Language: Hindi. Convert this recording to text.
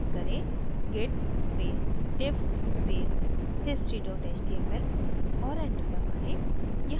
type करें: git space diff space history html और enter दबाएँ